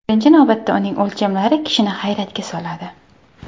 Birinchi navbatda uning o‘lchamlari kishini hayratga soladi.